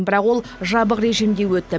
бірақ ол жабық режимде өтті